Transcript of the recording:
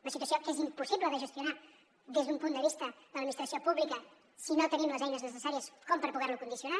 una situació que és impossible de gestionar des d’un punt de vista de l’administració pública si no tenim les eines necessàries com per poder lo condicionar